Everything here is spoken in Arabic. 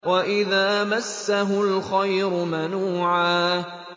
وَإِذَا مَسَّهُ الْخَيْرُ مَنُوعًا